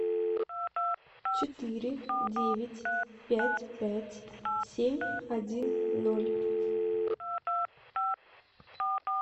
четыре девять пять пять семь один ноль